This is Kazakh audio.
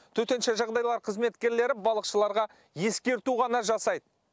төтенше жағдайлар қызметкерлері балықшыларға ескерту ғана жасайды